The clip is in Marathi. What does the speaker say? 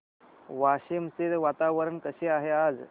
वाशिम चे वातावरण कसे आहे आज